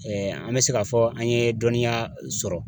Ɛɛ an be se k'a fɔ an ye dɔnniya sɔrɔ